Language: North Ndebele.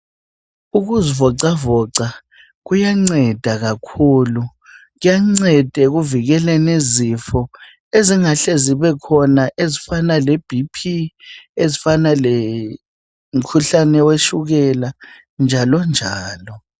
Ukuzivoxavoxa kuyanceda kakhulu. Kuyanceda ekuvikeleni izifo ezingahle zibekhona ezifana leBP, umkhuhlane wetshukela njalo njalo.